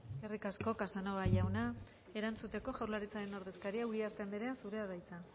eskerrik asko casanova jauna erantzuteko jaurlaritzaren ordezkaria uriarte andrea zurea da hitza